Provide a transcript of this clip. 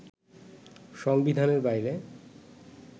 সংবিধানের বাইরে